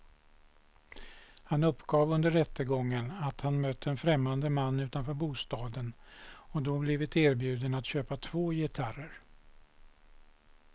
Han uppgav under rättegången att han mött en främmande man utanför bostaden och då blivit erbjuden att köpa två gitarrer.